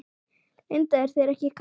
Linda: Er þér ekki kalt?